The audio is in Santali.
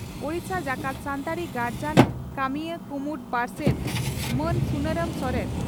ᱳᱰᱤᱥᱟ ᱡᱟᱠᱟᱛ ᱥᱟᱱᱛᱟᱲᱤ ᱜᱟᱨᱡᱟᱱ ᱠᱟᱹᱢᱤᱭᱟᱹ ᱠᱩᱢᱩᱴ ᱯᱟᱨᱥᱮᱛ ᱢᱟᱱ ᱥᱩᱱᱟᱨᱟᱢ ᱥᱚᱨᱮᱱ